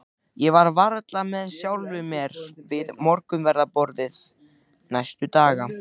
Ég var varla með sjálfri mér við morgunverðarborðið næsta dag.